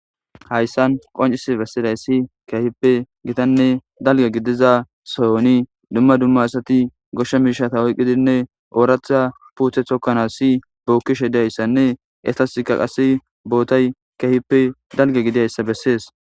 Hayssan qoncisi bessidayssi gitanne dalga gidiza sohon dumma dumma asati goshsha miishsha oyqidinne ooratha puute tokkanassi bookkishe de7iyayssanne eetasinne bootay keeppe dalga gidiyayssa bessees.